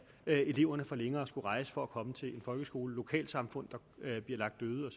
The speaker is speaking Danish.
eleverne får længere at rejse for at komme til en folkeskole lokalsamfundene bliver lagt øde og